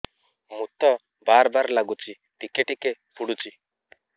ମୁତ ବାର୍ ବାର୍ ଲାଗୁଚି ଟିକେ ଟିକେ ପୁଡୁଚି